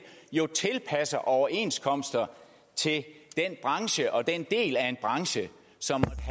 tilpasser overenskomster til en branche og den del af en branche som